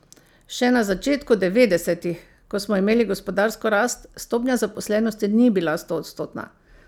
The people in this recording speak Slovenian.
Še na začetku devetdesetih, ko smo imeli gospodarsko rast, stopnja zaposlenosti ni bila stoodstotna.